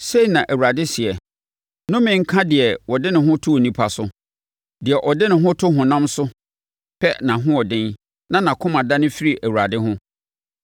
Sei na Awurade seɛ, “Nnome nka deɛ ɔde ne ho to onipa so, deɛ ɔde ne ho to ɔhonam so pɛ nʼahoɔden na nʼakoma dane firi Awurade ho.